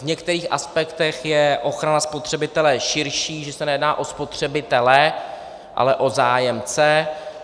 V některých aspektech je ochrana spotřebitele širší, že se nejedná o spotřebitele, ale o zájemce.